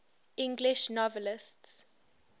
english novelists